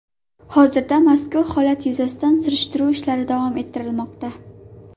Hozirda mazkur holat yuzasidan surishtiruv ishlari davom ettirilmoqda.